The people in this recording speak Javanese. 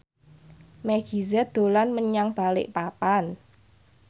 Meggie Z dolan menyang Balikpapan